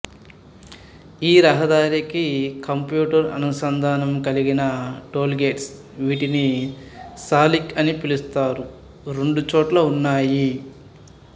ఈ రహదారికి కంప్యూటరు అనుసంధానము కలిగిన టాల్ గేట్స్ వీటిని సాలిక్ అని పిలుస్తారు రెండు చోట్ల ఉన్నాయి